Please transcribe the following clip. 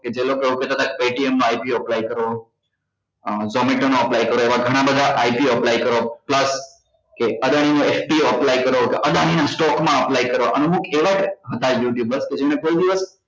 કે જે લોકો એવુ કેતા હતા કે ATM માં ITO ઓ apply કરો અ zometo નો apply કરો કે ઍવા ગણા બધા ITOapply કરો plus કે અદાણી નો apply કરો કે અદાણી જા stock મ apply કરવા અને અમુક એવા હતા youtubers કે જેમને કોઈ દિવસ